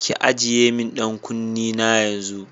Ki ajiye min ɗan kunne na yanzu!